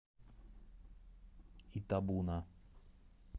итабуна